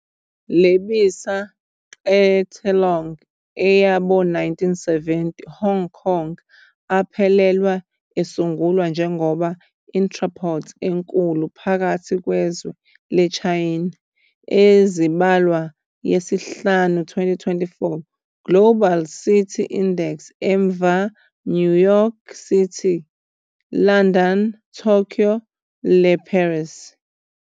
Lebisa qetellong ea bo-1970, Hong Kong aphelelwa esungulwe njengoba entrepôt enkulu phakathi kwezwe le Chaena. Ezibalwa yesihlanu 2014 Global Cities Index emva New York City, London, Tokyo le Paris.